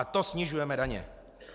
A to snižujeme daně."